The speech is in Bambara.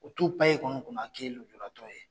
O t'u pan e kunna' ko i ye nujuratɔ ye.